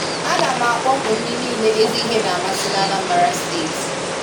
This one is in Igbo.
A na m akpọku ndị niile ezi ihe na-amasị n'Anambra steeti.